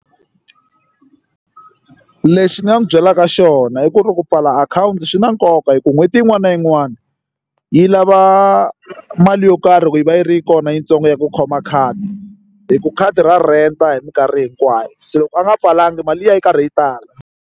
Lexi ni nga n'wi byelaka xona i ku ri ku pfala akhawunti swi na nkoka hi ku n'hweti yin'wana na yin'wana yi lava mali yo karhi ku yi va yi ri kona yitsongo ya ku khoma khadi hi ku khadi ra rent-a hi mikarhi hinkwayo se loko a nga pfalanga mali liya yi ya yi karhi yi tala.